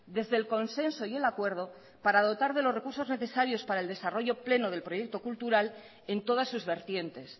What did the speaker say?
desde el consenso y el acuerdo para dotar de los recursos necesarios para del desarrollo pleno del proyecto cultural en todas sus vertientes